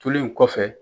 Turulen kɔfɛ